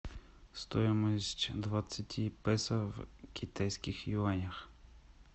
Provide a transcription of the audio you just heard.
стоимость двадцати песо в китайских юанях